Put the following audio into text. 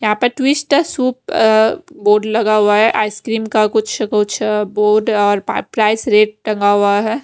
यहां पर twister soup अ बोर्ड लगा हुआ है आइसक्रीम का कुछ कुछ बोर्ड और पा प्राइस रेट टंगा हुआ है।